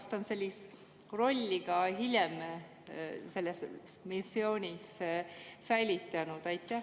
Kas ta on sellist rolli ka hiljem selles missioonis säilitanud?